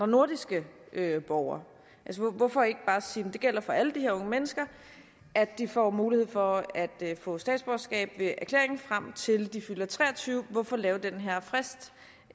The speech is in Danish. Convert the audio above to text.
nordiske borgere hvorfor ikke bare sige at det gælder for alle de her unge mennesker at de får mulighed for at få statsborgerskab ved erklæring frem til de fylder 23 hvorfor lave den her frist